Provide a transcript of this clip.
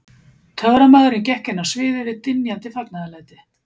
Töframaðurinn gekk inn á sviðið við dynjandi fagnaðarlæti.